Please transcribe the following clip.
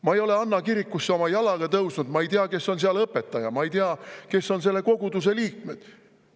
Ma ei ole Anna kirikusse oma jalgagi tõstnud, ma ei tea, kes on seal õpetaja, ja ma ei tea, kes on selle koguduse liikmed.